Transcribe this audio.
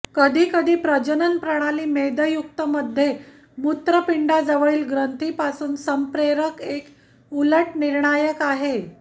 कधी कधी प्रजनन प्रणाली मेदयुक्त मध्ये मूत्रपिंडाजवळील ग्रंथी पासून संप्रेरक एक उलट निर्णायक आहे